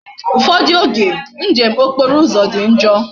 Ufodu oge njem okporo uzo di njoo